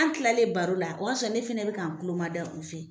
Ana kilalen baro la, o y'a sɔrɔ ne fɛnɛ bi ka n kulon ma da u fɛ